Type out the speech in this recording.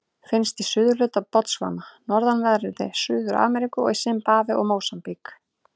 Finnst í suðurhluta Botsvana, norðanverðri Suður-Afríku og í Simbabve og Mósambík.